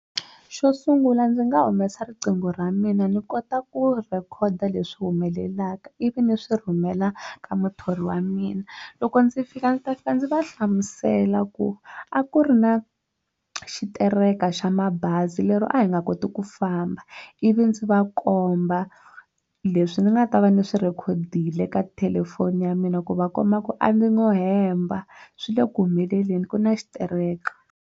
Xo sungula ndzi nga humesa riqingho ra mina ni kota ku rhekhoda leswi humelelaka ivi ni swi rhumela ka muthori wa mina loko ndzi fika ndzi ta fika ndzi va hlamusela ku a ku ri na xitereko xa mabazi lero a hi nga koti ku famba ivi ndzi va komba leswi ni nga ta va ni swi rhekhodie eka thelefoni ya mina ku va komba ku a ndzi ngo hemba swi le ku humeleleni ku na xitereko.